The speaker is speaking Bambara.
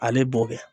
Ale b'o kɛ